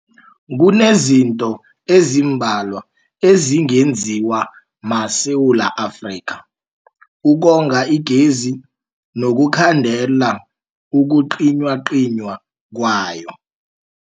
Kunezinto ezimbalwa ezingenziwa maSewula Afrika ukonga igezi nokukhandela ukucinywacinywa kwayo.